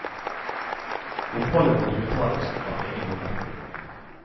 Oppholdet måtte betales av egen lomme.